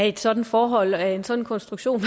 et sådant forhold og af en sådan konstruktion